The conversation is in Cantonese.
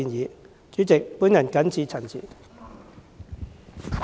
代理主席，我謹此陳辭。